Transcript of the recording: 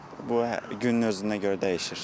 Bu günün özündən görə dəyişir.